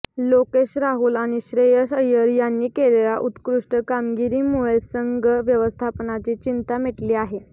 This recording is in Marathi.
लोकेश राहुल आणि श्रेयस अय्यर यांनी केलेल्या उत्कृष्ट कामगिरीमुळे संघ व्यवस्थापनाची चिंता मिटली आहे